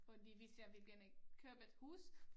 Fordi hvis jeg vil gerne købe et hus